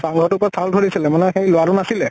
চাং ঘৰ তোৰ ওপৰত চাউল থৈ দিছিলে মানে সেই লʼৰা তো নাছিলে ।